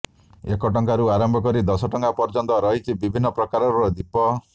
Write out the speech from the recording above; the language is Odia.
ଏକ ଟଙ୍କାରୁ ଆରମ୍ଭ କରି ଦଶଟଙ୍କା ପର୍ୟ୍ୟନ୍ତ ରହିଛି ବିଭିନ୍ନ ପ୍ରକାରର ଦୀପ